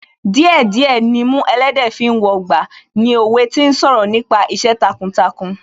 Díẹ̀ díẹ̀ nimú ẹlẹ́dẹ̀ẹ́ fi ń wọgbà ni òwe tí ń sọ̀rọ̀ nípa iṣẹ́ takuntakun